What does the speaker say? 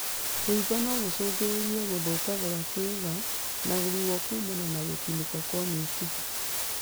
Kũimba nogũcũngĩrĩrie gũthũka gwa kĩũga na ruo kumana na gũtinĩka kwa mĩkiha